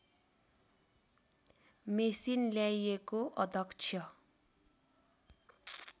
machine ल्याइएको अध्यक्ष